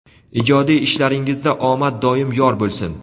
Ijodiy ishlaringizda omad doim yor bo‘lsin.